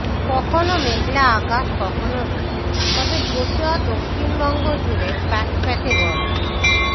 কখনও মেঘলা আকাশ কখনও রোদ তবে গোটা দক্ষিণবঙ্গ জুড়ে প্যাচ প্যাচে গরম